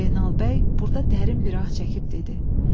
Zeynal bəy burda dərin bir ah çəkib dedi: